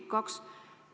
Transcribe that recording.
Kui kauaks?